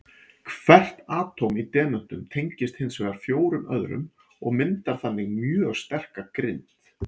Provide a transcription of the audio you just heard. Hvert atóm í demöntum tengist hins vegar fjórum öðrum og myndar þannig mjög sterka grind.